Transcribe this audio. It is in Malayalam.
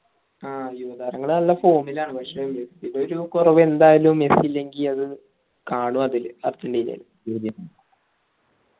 ആ യുവതാരങ്ങൾ നല്ല form ൽ ആണ് പക്ഷെ മെസ്സിടെ ഒരു കുറവ് എന്തായലും മെസ്സി ഇല്ലെങ്കിൽ അത് കാണും അതിൽ അർജന്റീനയിൽ